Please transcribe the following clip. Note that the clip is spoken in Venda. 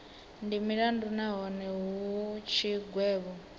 ndi mulandu nahone hu tshigwevho